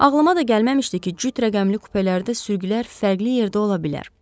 Ağlıma da gəlməmişdi ki, cüt rəqəmli kupelərdə sürgülər fərqli yerdə ola bilər.